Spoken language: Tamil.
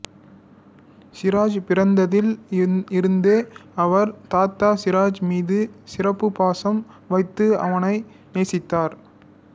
சிராஜ் பிறந்ததில் இருந்தே அவர் தாத்தா சிராஜ் மீது சிறப்பு பாசம் வைத்து அவனை நேசித்தார்